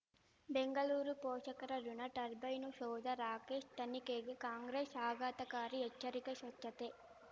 ಬೆಂಗಳೂರು ಪೋಷಕರಋಣ ಟರ್ಬೈನು ಸೌಧ ರಾಕೇಶ್ ತನಿಖೆಗೆ ಕಾಂಗ್ರೆಸ್ ಆಘಾತಕಾರಿ ಎಚ್ಚರಿಕೆ ಸ್ವಚ್ಛತೆ